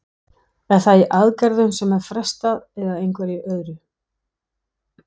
Er það í aðgerðum sem er frestað eða einhverju öðru?